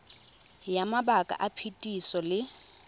ya mabaka a phetiso le